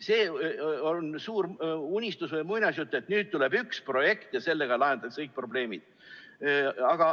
See on suur unistus või muinasjutt, et nüüd tuleb üks projekt ja sellega lahendatakse kõik probleemid.